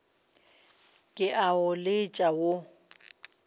ke a o letša wo